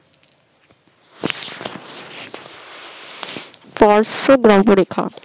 স্পর্শ দ্মভরেখা